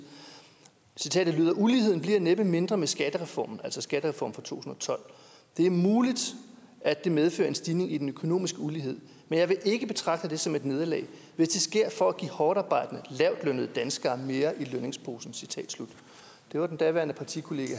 citatet lyder uligheden bliver næppe mindre med skattereformen altså skattereformen fra to tusind og tolv det er muligt at det medfører en stigning i den økonomiske ulighed men jeg vil ikke betragte det som et nederlag hvis det sker for at give hårdtarbejdende lavtlønnede danskere mere i lønningsposen det var den daværende partikollega